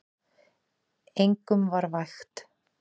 Engum var vægt.